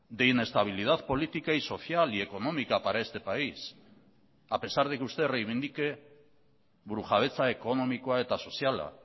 de inestabilidad política y social y económica para este país a pesar de que usted reivindique burujabetza ekonomikoa eta soziala